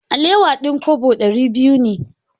Alewa din kobo dari biyu ne.